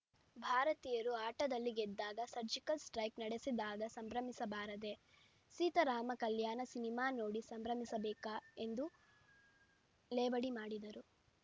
ಭಾರತೀಯರು ಆಟದಲ್ಲಿ ಗೆದ್ದಾಗ ಸರ್ಜಿಕಲ್‌ ಸ್ಟ್ರೈಕ್ ನಡೆಸಿದಾಗ ಸಂಭ್ರಮಿಸಬಾರದೇ ಸೀತಾರಾಮ ಕಲ್ಯಾಣ ಸಿನಿಮಾ ನೋಡಿ ಸಂಭ್ರಮಿಸಬೇಕಾ ಎಂದು ಲೇವಡಿ ಮಾಡಿದರು